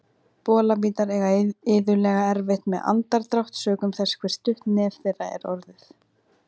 Bolabítar eiga iðulega erfitt með andardrátt sökum þess hve stutt nef þeirra er orðið.